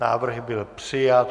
Návrh byl přijat.